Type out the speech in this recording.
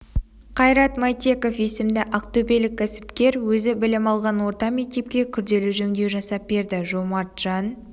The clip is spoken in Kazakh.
қайрат мәйтеков есімді ақтөбелік кәсіпкер өзі білім алған орта мектепке күрделі жөндеу жасап берді жомарт жан